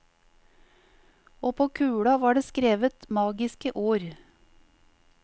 Og på kula var det skrevet magiske ord.